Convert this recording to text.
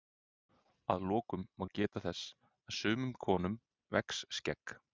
að lokum má geta þess að sumum konum vex skegg